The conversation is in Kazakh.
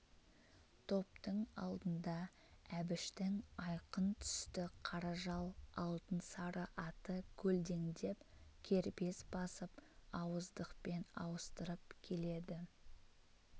топтың алдында әбіштің айқын түсті қара жал алтын сары аты көлдеңдеп кербез басып ауыздықпен ауыстырып келеді